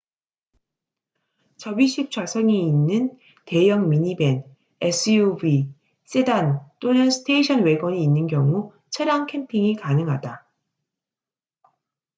접이식 좌석이 있는 대형 미니밴 suv 세단 또는 스테이션 왜건이 있는 경우 차량 캠핑이 가능하다